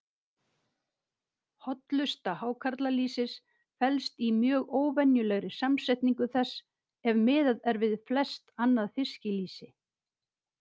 Hollusta hákarlalýsis felst í mjög óvenjulegri samsetningu þess, ef miðað er við flest annað fiskilýsi.